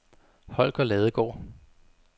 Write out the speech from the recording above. Holger Ladegaard